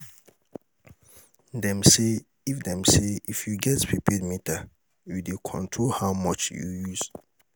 Dem say, if Dem say, if you get prepaid meter, you dey control how much you use.